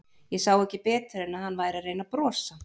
Ég sá ekki betur en að hann væri að reyna að brosa.